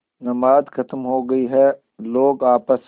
नमाज खत्म हो गई है लोग आपस